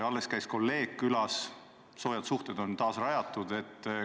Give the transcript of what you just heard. Alles käis kolleeg külas, soojad suhted on taas rajatud.